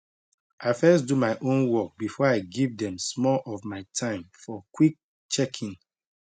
i first do my own work before i give dem small of my time for quick checkin